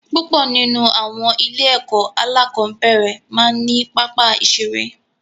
Púpọ̀ nínú àwọn ilé-ẹ̀kọ́ alákọ̀ọ́nbẹ̀rẹ̀ máa ń ní pápá ìṣeré.